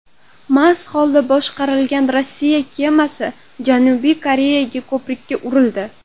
Mast holda boshqarilgan Rossiya kemasi Janubiy Koreyada ko‘prikka urildi .